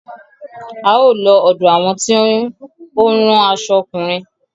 A ó lọ ọ̀dọ àwọn tí ó ń rán aṣo ọkùnrin.